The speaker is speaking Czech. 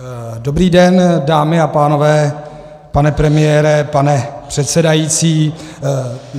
Dobrý den, dámy a pánové, pane premiére, pane předsedající.